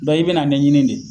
Dɔnku i bɛna ɲɛnɲini de.